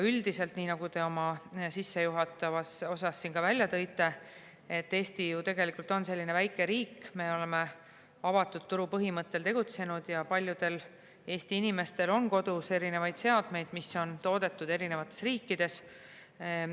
Üldiselt, nii nagu te oma sissejuhatavas osas välja tõite, Eesti on ju tegelikult väike riik, me oleme avatud turu põhimõttel tegutsenud ja paljudel Eesti inimestel on kodus erinevaid seadmeid, mis on toodetud eri riikides.